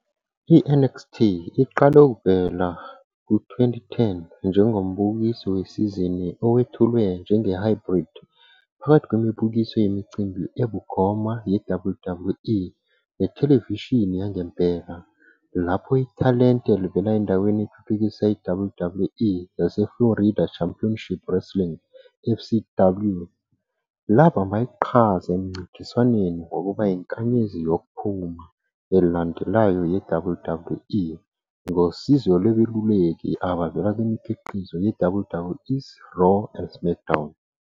"I-NXT" iqale ukuvela ku-2010 njengombukiso wesizini owethulwe njenge-hybrid phakathi kwemibukiso yemicimbi ebukhoma yeWWE nethelevishini yangempela, lapho ithalente elivela endaweni ethuthukisa iWWE yaseFlorida Championship Wrestling, FCW, labamba iqhaza emncintiswaneni wokuba "inkanyezi yokuphuma" elandelayo yeWWE, ngosizo lwabeluleki abavela kwimikhiqizo yeWWE's Raw and SmackDown.